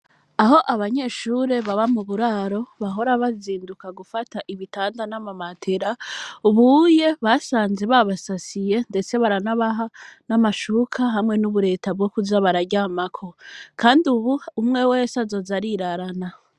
Aho abanyeshure baba mu buraro bahora bazinduka gufata ibitanda n'amamatera ubuye basanze ba basasiye, ndetse baranabaha n'amashuka hamwe n'ubureta bwo kuja bararyamako, kandi, ubu umwe wese azoza arirarana.